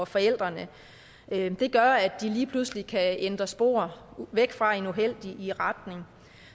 forældrene det gør at de lige pludselig kan ændre spor væk fra en uheldig retning